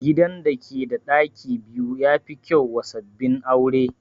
Gidan da ke da ɗaki biyu ya fi kyau wa sabbin aure